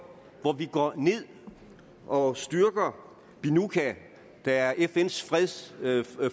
hvor vi tager ned og styrker binuca der er fns freds